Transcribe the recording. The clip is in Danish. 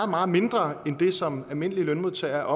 meget mindre end det som almindelige lønmodtagere